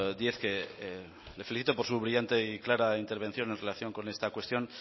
díez que le felicito por su brillante y clara intervención en relación con esta cuestión